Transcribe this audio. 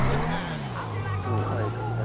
উম হয় এইটো কথা টো